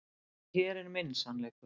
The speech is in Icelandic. En hér er minn sannleikur.